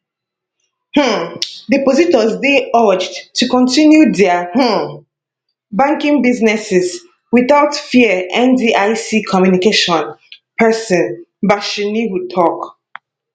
um depositors dey urged to kontinu dia um banking businesses without fear ndic communication pesin bashir nuhu tok